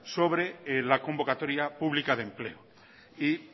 sobre la convocatoria pública de empleo y